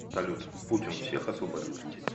салют путин всех освободит